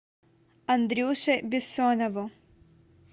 андрюше бессонову